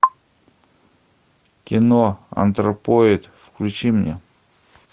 кино антропоид включи мне